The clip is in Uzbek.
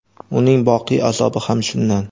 uning boqiy azobi ham shundan.